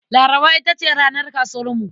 Laraba ita ce ranar kasuwarmu.